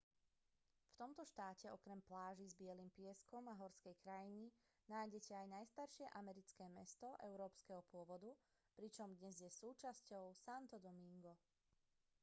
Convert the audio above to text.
v tomto štáte okrem pláží s bielym pieskom a horskej krajiny nájdete aj najstaršie americké mesto európskeho pôvodu pričom dnes je súčasťou santo domingo